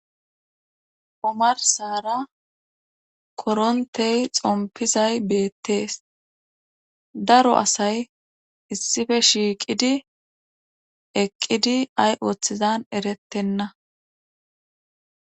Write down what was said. omarsara korontey xompizay beettees daro asay issife shiiqidi eqqidi ay ooththizan erettenna